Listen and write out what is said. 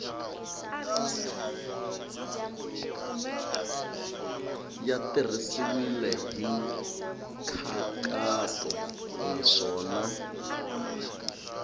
ya tirhisiwile hi nkhaqato naswona